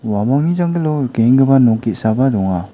uamangni janggilo rikenggipa nok ge·saba donga.